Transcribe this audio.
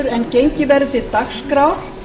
áður en gengið verður til dagskrár